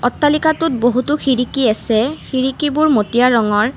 অট্টালিকাটোত বহুতো খিৰিকী আছে খিৰিকীবোৰ মটীয়া ৰঙৰ।